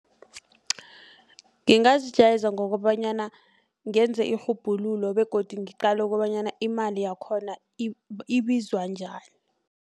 Ngingazijayeza ngokobanyana ngenze irhubhululo begodu ngeqale kobanyana imali yakhona ibizwa njani.